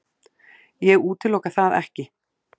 Ég útiloka það ekki.